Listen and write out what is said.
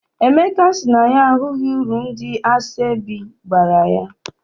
Emeka sị na ya ahụghị uru ndị asọebi bara.